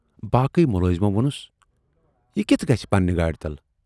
"باقٕے مُلٲزمو وونُس"یہِ کِتھٕ گژھِ پننہِ گاڑِ تل